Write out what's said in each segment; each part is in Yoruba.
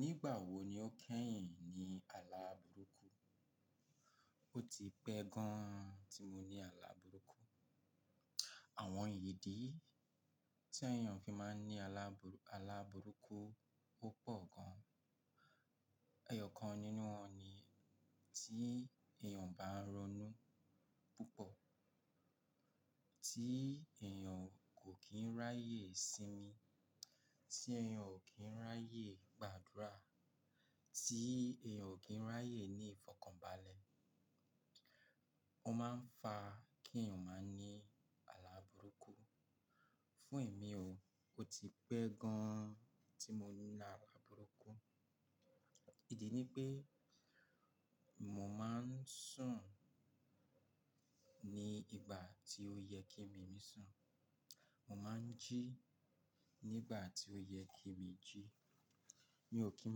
Nígbà wo ni o kẹ́yìn ní àlá burúkú? O ti pẹ́ gan tí mo ní àlá burúkú. Àwọn ìdí tí èèyàn fi máa ń ní alà- àlá burúkú opọ̀ gan. Ẹ̀yọ̀ kan nínú wọn ni tí èèyàn bá ń ronú púpọ̀, tí èèyàn kò kín ráyè sinmi, tí èèyàn o kín ráyè gbàdúrà, tí èèyàn o kín ráyè ní ìfọ̀kànbalẹ̀. Ó máa ń fa kí èèyàn máa ní àlá burúkú. Fún èmi o, o ti pẹ́ gan tí mo ní àlá burúkú. Ìdí ni pé mo máa ń sùn ní ìgbà tí ó yẹ kí èmi mí sùn. Mo máa ń jí ní ìgbà tí ó yẹ kí èmi jí. Mi ò kín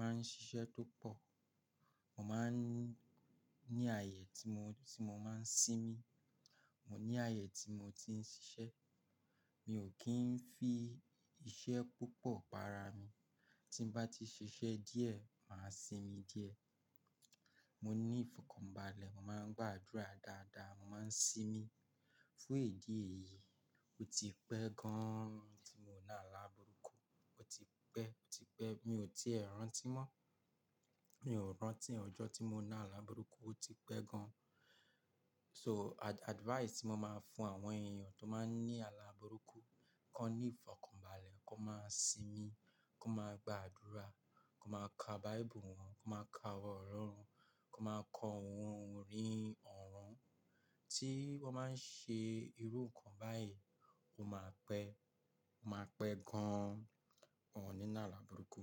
máa ń ṣiṣẹ́ tó pọ̀. Mo máa ń ní ààyè tí mo ti mo máa ń sinmi, mo ní ààyè tí mo ti ń ṣiṣẹ́. Mi ò kín ń fi iṣẹ́ púpọ̀ pa ara mi. Tí n bá ti ṣiṣẹ́ díẹ̀, màá sinmi díẹ̀. Mo ní ìfọ̀kànbalẹ̀, mo máa ń gbàdúrà dáadáa, mo máa ń sinmi. Fún ìdí èyí, o ti pẹ́ gan tí mò ń ní àlá burúkú, o ti pẹ́, o ti pẹ́. Mi ò ti rántí mọ́, mi ò rántí ọjọ́ tí mo ní àlá burúkú, o ti pẹ́ gan. So ad-advice tí mo máa fún àwọn èèyàn tó máa ń ní àlá burúkú, kọ́ ní ìfọ̀kànbalẹ̀, kó máa sinmi, kó máa gbàdúrà, kó máa ka Bible wọn, kó máa ka ọ̀rọ̀ Ọlọ́run, kó máa kọ ohun orí ọ̀ràn. Tí wọ́n máa ń ṣe irú nǹkan báyìí, o máa pẹ́, o máa pẹ́ gan, wọn ò ní ná àlá burúkú.